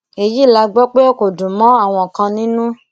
èyí la gbọ pé kò dùn mọ àwọn kan nínú